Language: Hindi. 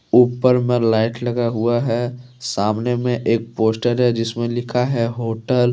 ऊपर मे लाइट लगा हुआ है सामने मे एक पोस्टर है जिसमे लिखा है होटल ।